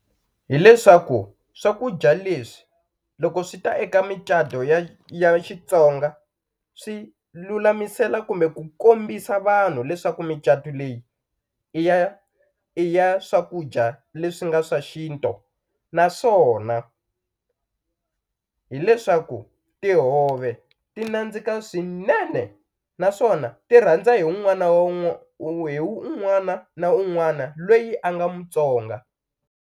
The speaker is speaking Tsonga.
Hi leswaku swakudya leswi loko swi ta eka micato ya Xitsonga swi lulamisela kumbe ku kombisa vanhu leswaku micatu leyi i ya i ya swakudya leswi nga swa xintu naswona hileswaku tihove ti nandzika swinene naswona ti rhandza hi wun'wana wa hi wun'wana na un'wana lweyi a nga Mutsonga.